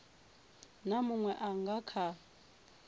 na munwe a nga kha